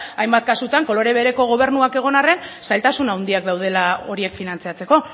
hainbat kasutan kolore bereko gobernuak egon arren zailtasun handiak daudela horiek finantzatzeko